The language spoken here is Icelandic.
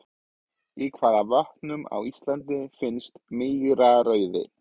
Í hvaða vötnum á Íslandi finnst mýrarauði?